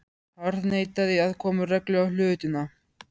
Harðneitaði að koma reglu á hlutina.